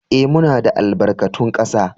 Ee, muna da albarkatun kasa